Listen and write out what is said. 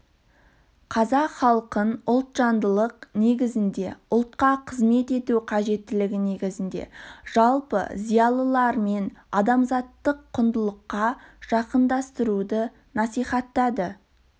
қазақ халқын ұлтжандылық негізінде ұлтқа қызмет ету қажеттілігі негізінде жалпы зиялылармен адамзаттық құндылыққа жақындастыруды насихаттады